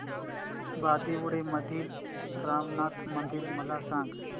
बांदिवडे मधील रामनाथी मंदिर मला सांग